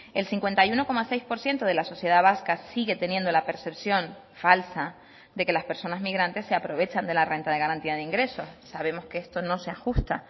el cincuenta y uno coma seis por ciento de la sociedad vasca sigue teniendo la percepción falsa de que las personas migrantes se aprovechan de la renta de garantía de ingresos sabemos que esto no se ajusta